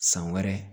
San wɛrɛ